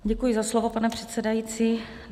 Děkuji za slovo, pane předsedající.